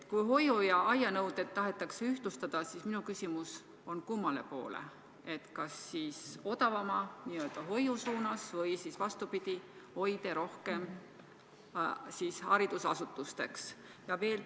Kui hoiu- ja aianõuded tahetakse ühtlustada, siis kummale poole: kas odavama, n-ö hoiu suunas või vastupidi, hoide tahetakse rohkem haridusasutusteks muuta?